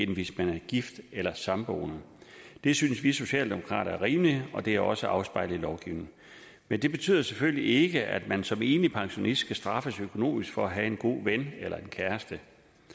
hvis man er gift eller samboende det synes vi socialdemokrater er rimeligt og det er også afspejlet i lovgivningen men det betyder jo selvfølgelig ikke at man som enlig pensionist skal straffes økonomisk for at have en god ven eller en kæreste